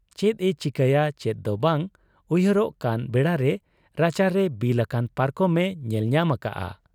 ᱪᱮᱫ ᱮ ᱪᱤᱠᱟᱹᱭᱟ ᱪᱮᱫ ᱫᱚ ᱵᱟᱝ ᱩᱭᱦᱟᱹᱨᱚᱜ ᱠᱟᱱ ᱵᱮᱲᱟᱨᱮ ᱨᱟᱪᱟ ᱨᱮ ᱵᱤᱞ ᱟᱠᱟᱱ ᱯᱟᱨᱠᱚᱢ ᱮ ᱧᱮᱞ ᱧᱟᱢ ᱟᱠᱟᱜ ᱟ ᱾